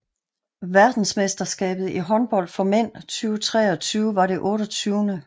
Verdensmesterskabet i håndbold for mænd 2023 var det 28